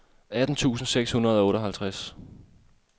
atten tusind seks hundrede og otteoghalvtreds